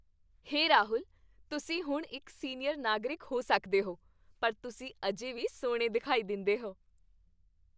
ਹੇ ਰਾਹੁਲ, ਤੁਸੀਂ ਹੁਣ ਇੱਕ ਸੀਨੀਅਰ ਨਾਗਰਿਕ ਹੋ ਸਕਦੇ ਹੋ, ਪਰ ਤੁਸੀਂ ਅਜੇ ਵੀ ਸੋਹਣੇ ਦਿਖਾਈ ਦਿੰਦੇਹੋ।